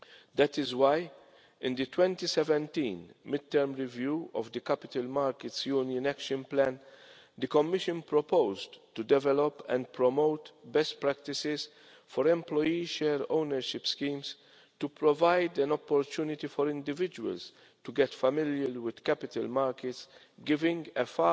That is why, in the 2017 mid term review of the Capital Markets Union Action Plan, the Commission proposed to develop and promote best practices for employee share ownership schemes to provide an opportunity for individuals to get familiar with capital markets, giving a